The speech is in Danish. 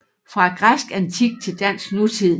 Fra græsk antik til dansk nutid